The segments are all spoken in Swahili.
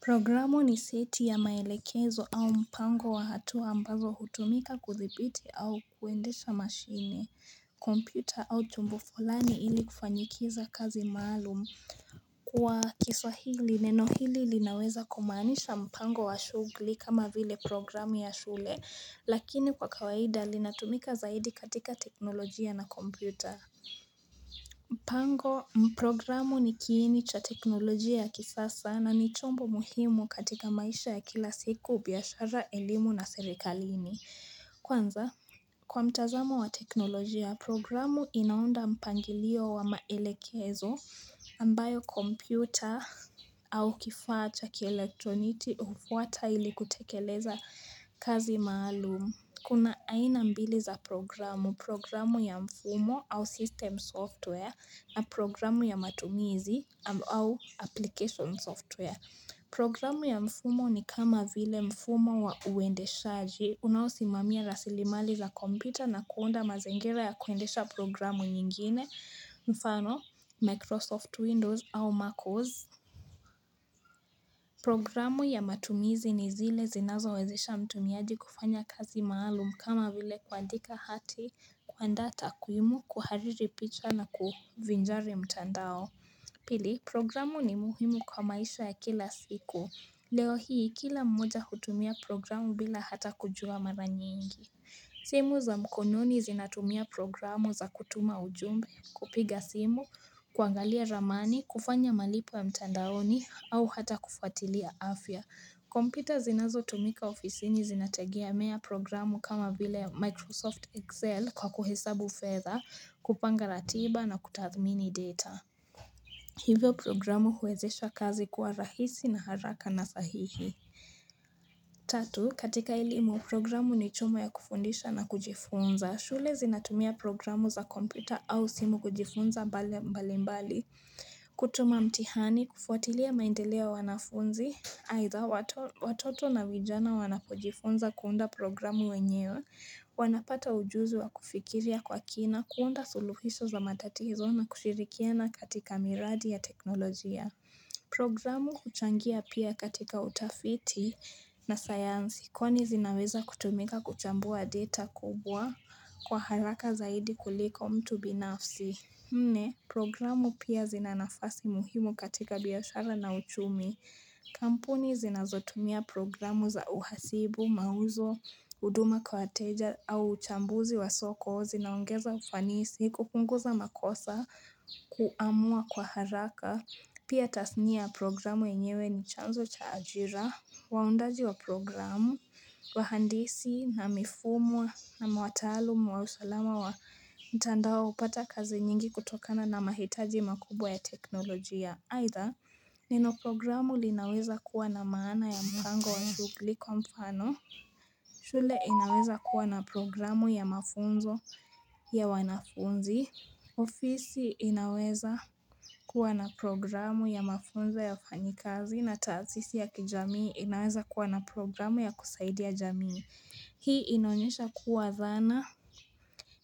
Programu ni seti ya maelekezo au mpango wa hatua ambazo hutumika kuthibiti au kuendesha mashine, kompyuta au chombo fulani ili kufanyikiza kazi maalum. Kwa kiswahili neno hili linaweza kumaanisha mpango wa shughuli kama vile programu ya shule, lakini kwa kawaida linatumika zaidi katika teknolojia na kompyuta. Mpango, programu ni kiini cha teknolojia ya kisasa na ni chombo muhimu katika maisha ya kila siku, biashara, elimu na serikalini. Kwanza, kwa mtazamo wa teknolojia, programu inaunda mpangilio wa maelekezo ambayo kompyuta au kifaa cha kielektroniki hufuata ili kutekeleza kazi maalum. Kuna aina mbili za programu, programu ya mfumo au system software na programu ya matumizi au application software. Programu ya mfumo ni kama vile mfumo wa uendeshaji unaosimamia rasilimali za kompyuta na kuunda mazingira ya kuendesha programu nyingine mfano, Microsoft Windows au MacOS. Programu ya matumizi ni zile zinazowezesha mtumiaji kufanya kazi maalum kama vile kuandika hati, kuandaa takuimu, kuhariri picha na kuvinjari mtandao. Pili, programu ni muhimu kwa maisha ya kila siku. Leo hii kila mmoja hutumia programu bila hata kujua mara nyingi. Simu za mkononi zinatumia programu za kutuma ujumbe, kupiga simu, kuangalia ramani, kufanya malipo ya mtandaoni au hata kufuatilia afya. Kompyuta zinazotumika ofisini zinategemea programu kama vile Microsoft Excel kwa kuhesabu fedha, kupanga ratiba na kutathmini data. Hivyo programu huwezesha kazi kuwa rahisi na haraka na sahihi. Tatu, katika elimu programu ni chuma ya kufundisha na kujifunza. Shule zinatumia programu za kompyuta au simu kujifunza mbali mbali. Kutuma mtihani, kufuatilia maendeleo ya wanafunzi. Aidha, watoto na vijana wanapojifunza kuunda programu wenyewe. Wanapata ujuzi wa kufikiria kwa kina, kuunda suluhisho za matatizo na kushirikiana katika miradi ya teknolojia. Programu huchangia pia katika utafiti na sayansi kwani zinaweza kutumika kuchambua data kubwa kwa haraka zaidi kuliko mtu binafsi. Nne, programu pia zina nafasi muhimu katika biashara na uchumi. Kampuni zinazotumia programu za uhasibu, mauzo, huduma kwa wateja au uchambuzi wa soko zinaongeza ufanisi, kupunguza makosa, kuamua kwa haraka. Pia tasnia ya programu yenyewe ni chanzo cha ajira, waundaji wa programu, wahandisi, na mifumo, na wataalum wa usalama wa mtandao hupata kazi nyingi kutokana na mahitaji makubwa ya teknolojia. Aidha, neno programu linaweza kuwa na maana ya mpango wa shughuli kwa mfano shule inaweza kuwa na programu ya mafunzo ya wanafunzi, ofisi inaweza kuwa na programu ya mafunzo ya wafanyikazi na taasisi ya kijamii inaweza kuwa na programu ya kusaidia jamii. Hii inaonyesha kuwa dhana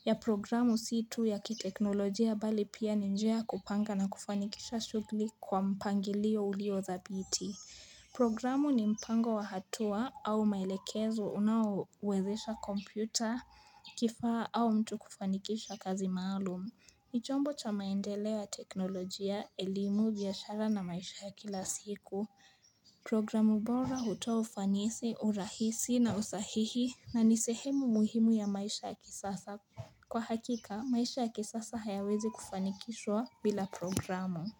ya programu si tu ya kiteknolojia bali pia ni njia ya kupanga na kufanikisha shughuli kwa mpangilio ulio dhabiti. Programu ni mpango wa hatua au maelekezo unaowezesha kompyuta, kifaa au mtu kufanikisha kazi maalum. Ni chombo cha maendeleo ya teknolojia, elimu, biashara na maisha ya kila siku. Programu bora hutoa ufanisi, urahisi na usahihi na ni sehemu muhimu ya maisha ya kisasa. Kwa hakika, maisha ya kisasa hayawezi kufanikishwa bila programu.